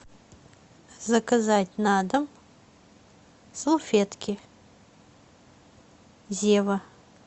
заказать на дом салфетки зева